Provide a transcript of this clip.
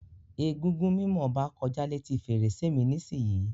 Egúngún mimo Oba koja leti ferese mi nisiyi.